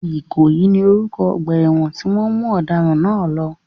Ìkòyí ni orúkọ ọgbà ẹ̀wọ̀n tí wọ́n mú ọ̀daràn náà lọ.